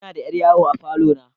Ina da yar yawo a falo na.